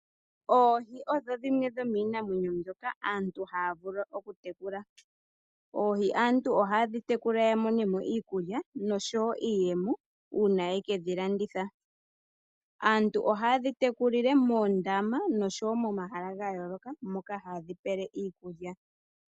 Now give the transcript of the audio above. Oohi odho dhimwe dhomiinamwenyo mbyoka aantu haya vulu okutekula. Oohi aantu ohaye dhitekula yamone mo iikulya noshowo iiyemo uuna ye ke dhilanditha. Aantu ohaye dhitekulile moondama noshowo momahala ga yooloka moka haye dhipele iikulya.